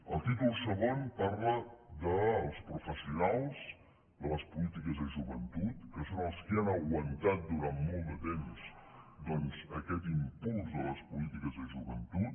el títol segon parla dels professionals de les polítiques de joventut que són els qui han aguantat durant molt de temps doncs aquest impuls de les polítiques de joventut